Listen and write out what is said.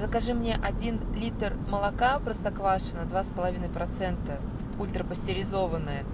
закажи мне один литр молока простоквашино два с половиной процента ультрапастеризованное